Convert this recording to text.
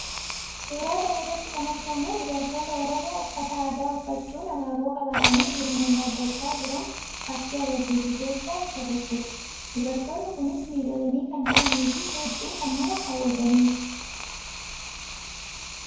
Suuraa kana irratti kan argamu dubartoota Oromoo uffataa aadaa uffachuun abaaboo qabatanii gurmuun dhaabbachaa jiran fakkii agarsiisuu keessaa isa tokkoodha. Dubartoonni kunis miidhaganii kan jiranii fi hedduu kan nama hawwatanii dha.